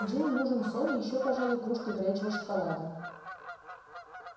джинни нужен сон и ещё пожалуй кружка горячего шоколада